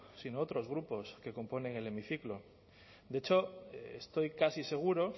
sino otros grupos que componen el hemiciclo de hecho estoy casi seguro